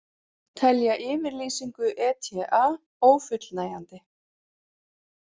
Telja yfirlýsingu ETA ófullnægjandi